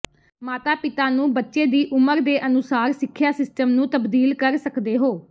ਮਾਤਾ ਪਿਤਾ ਨੂੰ ਬੱਚੇ ਦੀ ਉਮਰ ਦੇ ਅਨੁਸਾਰ ਸਿੱਖਿਆ ਸਿਸਟਮ ਨੂੰ ਤਬਦੀਲ ਕਰ ਸਕਦੇ ਹੋ